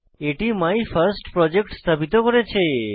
এটি মাইফার্স্টপ্রজেক্ট স্থাপিত করেছে